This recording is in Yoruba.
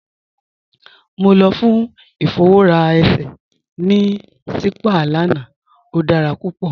Mọ lọ fún ifọwọra èṣẹ̀ ní sípàá lána, o dára púpọ.